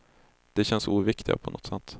De känns oviktiga på något sätt.